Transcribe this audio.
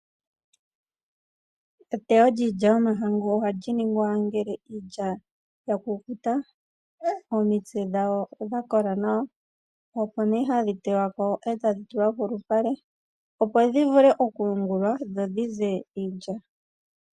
Eteyo lyiilya yomahangu ohali ningwa ngele iilya ya kukuta, omitse dhayo dha kola nawa opo nee hadhi teywa ko e tadhi tulwa polupale opo dhi vule okuyungulwa dho dhize iilya.